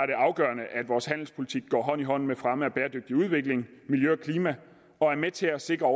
det afgørende at vores handelspolitik går hånd i hånd med fremme af bæredygtig udvikling miljø og klima og er med til at sikre